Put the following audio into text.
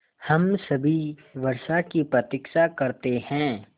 हम सभी वर्षा की प्रतीक्षा करते हैं